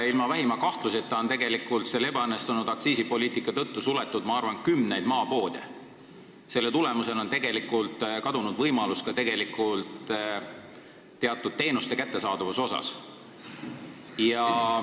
Vähimagi kahtluseta on ebaõnnestunud aktsiisipoliitika tõttu suletud kümneid maapoode ja võimalus teatud teenuseid saada on kadunud.